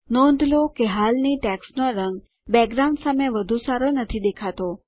નોંધ લો કે હાલની ટેક્સ્ટ નો રંગ બેકગ્રાઉન્ડ સામે વધુ સારો નથી દેખાતો